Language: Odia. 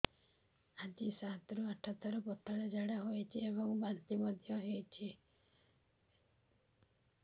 ଆଜି ସାତରୁ ଆଠ ଥର ପତଳା ଝାଡ଼ା ହୋଇଛି ଏବଂ ବାନ୍ତି ମଧ୍ୟ ହେଇଛି